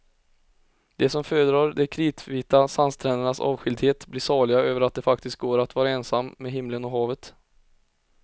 De som föredrar de kritvita sandsträndernas avskildhet blir saliga över att det faktiskt går att vara ensam med himlen och havet.